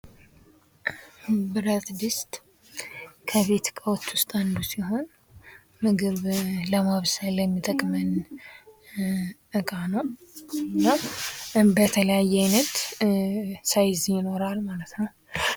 ብረትድስት ከቤት እቃዎች ዉስጥ አንዱ ሲሆን ምግብ ለማብሰል የሚጠቅመን ዕቃ ነው:: እና በተለያየ አይነት ሳይዝ ይኖራል ማለት ነው::